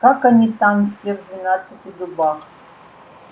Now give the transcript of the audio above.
как они там все в двенадцати дубах